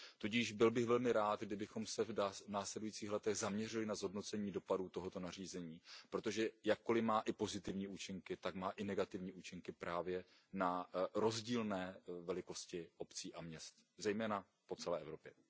Tudíž byl bych velmi rád, kdybychom se v následujících letech zaměřili na zhodnocení dopadu tohoto nařízení, protože jakkoli má pozitivní účinky, tak má i negativní účinky právě na rozdílné velikosti obcí a měst, zejména po celé Evropě.